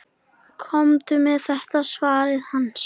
Komdu með þetta, svaraði hann.